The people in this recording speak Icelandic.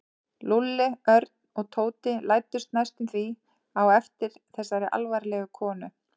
Lúlli, Örn og Tóti læddust næstum því á eftir þessari alvarlegu konu.